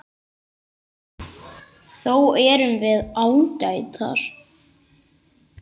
Þó erum við ágætar.